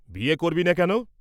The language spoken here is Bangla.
বিয়ে করবি নে কেন?